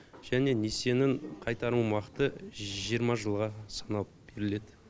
және несиенін қайтарым уақыты жиырма жылға саналып беріледі